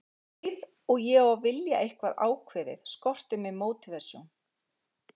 Um leið og ég á að vilja eitthvað ákveðið skortir mig mótívasjón.